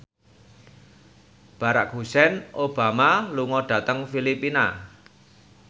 Barack Hussein Obama lunga dhateng Filipina